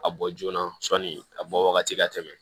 A bɔ joona sɔni a bɔ wagati ka tɛmɛ